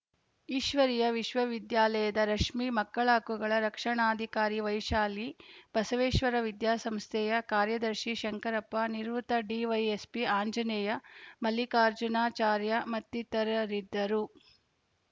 ಈಶ್ವರೀಯ ವಿಶ್ವವಿದ್ಯಾಲಯದ ರಶ್ಮಿ ಮಕ್ಕಳ ಹಕ್ಕುಗಳ ರಕ್ಷಣಾಧಿಕಾರಿ ವೈಶಾಲಿ ಬಸವೇಶ್ವರ ವಿದ್ಯಾಸಂಸ್ಥೆಯ ಕಾರ್ಯದರ್ಶಿ ಶಂಕರಪ್ಪ ನಿವೃತ್ತ ಡಿವೈಎಸ್ಪಿ ಆಂಜನೇಯ ಮಲ್ಲಿಕಾರ್ಜುನಾಚಾರ್ಯ ಮತ್ತಿತರರಿದ್ದರು